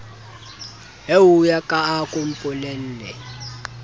eoya ka a ko mpolelle